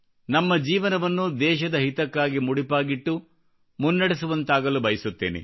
ನಮ್ಮ ಜಿವನವನ್ನು ದೇಶದ ಹಿತಕ್ಕಾಗಿ ಮುಡಿಪಾಗಿಟ್ಟು ಮುನ್ನಡೆಸುವಂತಾಗಲು ಬಯಸುತ್ತೇನೆ